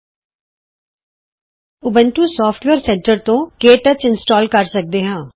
ਤੁਸੀਂ Ubuntu software centre ਤੋਂ KTouch install ਕਰ ਸਕਦੇ ਹੋ